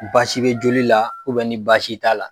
Baasi bɛ joli la ni baasi t'a la.